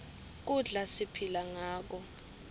kudla siphila ngako